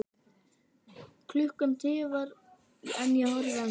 Klukkan tifar en ég horfi enn.